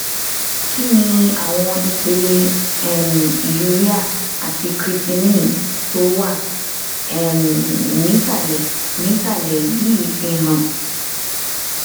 kí ni àwọn ipele um urea àti creatinine tó wà um nísàlẹ nísàlẹ yìí fihàn